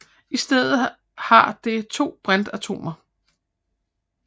I stedet har det to brintatomer